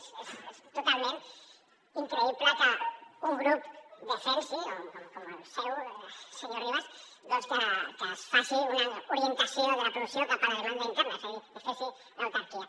és totalment increïble que un grup defensi com el seu senyor ribas que es faci una orientació de la producció cap a la demanda interna és a dir que es faci l’autarquia